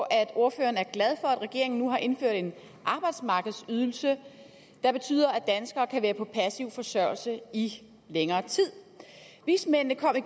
at ordføreren er glad at regeringen nu har indført en arbejdsmarkedsydelse der betyder at danskere kan være på passiv forsørgelse i længere tid vismændene kom i